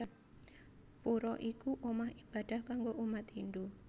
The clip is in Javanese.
Pura iku omah ibadah kanggo umat Hindu